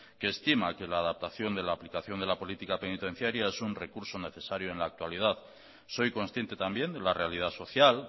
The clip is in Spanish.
que estima que la adaptación de la aplicación de la política penitenciaria es un recurso necesario en la actualidad soy consciente también de la realidad social